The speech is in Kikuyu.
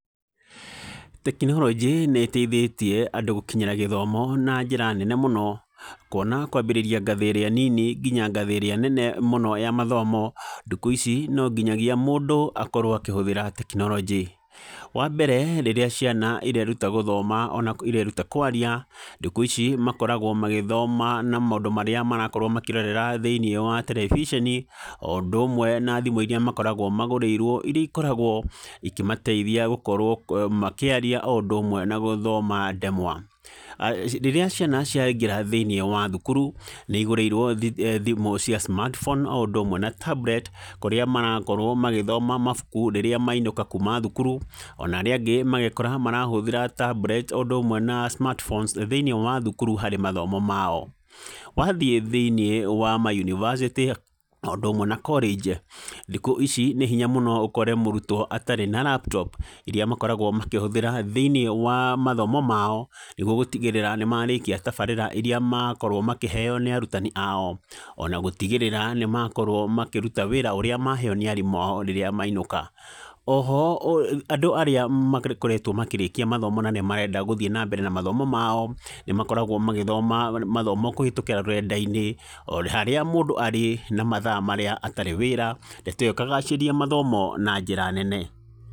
Tekinorojĩ nĩ ĩteithĩtie andũ gũkinyĩra gĩthomo na njĩra nene mũno , kuona kwambĩrĩria ngathĩ ĩrĩa nini nginya ngathĩ ĩrĩa nene mũno ya mathomo , ndukũ ici no nginyagia mũndũ akorwo akĩhũthĩra tekinorojĩ , wa mbere rĩrĩa ciana ireruta gũthoma na ireruta kwaria, ndukũ ici makoragwo magĩthoma na maũndũ marĩa marakorwo makĩrorera thĩiniĩ wa tereviceni , o ũndũ ũmwe na thimũ iria makoragwo magũrĩirwo, iria ikoragwo ikĩmateithia gũkorwo makĩaria o ũndũ ũmwe na gũthoma ndemwa, rĩrĩa ciana ciaingĩra thĩiniĩ wa thukuru , nĩ igũrĩirwo thimũ cia smart phone o ũndũ ũmwe na tablet , kũrĩa marakorwo magĩthoma mabuku rĩrĩa mainũka kuma thukuru, ona arĩa angĩ magekora marahũthĩra tablet o ũndũ ũmwe na smart phones thĩiniĩ wa thukuru harĩ mathomo mao, wathiĩ thĩiniĩ wa mayunivasĩtĩ o ũndũ ũmwe na korĩnji , thikũ ici nĩ hinya mũno ũkore mũrutwo atarĩ na laptop iria makoragwo makĩhũthĩra thĩiniĩ wa mathomo mao, nĩgwo gũtigĩrĩra nĩmarĩkia tabarĩra iria makorwo makĩheo nĩ arutani ao, ona gũtigĩrĩra nĩmakorwo makĩruta wĩra ũrĩa maheo nĩ arutani ao rĩrĩa mainũka, oho andũ arĩa makoretwo makĩrĩkia mathomo na nĩ marenda gũthiĩ na mbere na mathomo mao, nĩmakoragwo magĩthoma mathomo kũhĩtũkĩra rũrenda-inĩ , o harĩa mũndũ arĩ na mathaa marĩa atarĩ wĩra ndeto ĩyo ĩkagacĩria mathomo na njĩra nene.